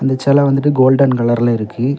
செல வந்துட்டு கோல்டன் கலர்ல இருக்கு.